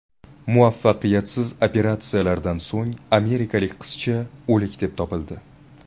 Muvaffaqiyatsiz operatsiyadan so‘ng amerikalik qizcha o‘lik deb topildi.